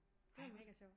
Det var mega sjovt